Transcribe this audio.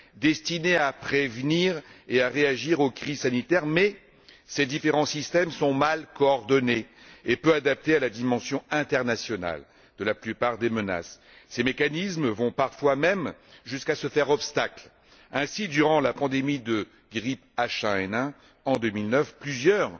destinés à prévenir et à réagir aux crises sanitaires, mais ces différents systèmes sont mal coordonnés et peu adaptés à la dimension internationale de la plupart des menaces. Ces mécanismes vont parfois même jusqu'à se faire obstacle. Ainsi, durant la pandémie de grippe H1N1, en 2009, plusieurs